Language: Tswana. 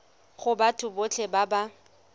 go batho botlhe ba ba